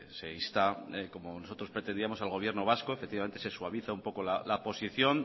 se insta como nosotros pretendíamos al gobierno vasco efectivamente se suaviza un poco la posición